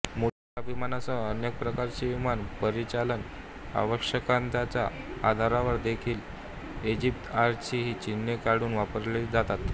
मोठ्या विमानांसह अन्य प्रकारचे विमान परिचालन आवश्यकतांच्या आधारावर देखील इजिप्तएअरची चिन्हे काढून वापरले जातात